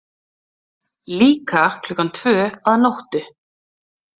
Líka klukkan tvö að nóttu?